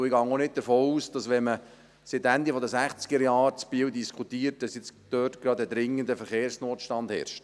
Ich gehe auch nicht davon aus, dass – wenn man seit Ende der Sechzigerjahre in Biel diskutiert – dort gerade ein dringender Verkehrsnotstand herrscht.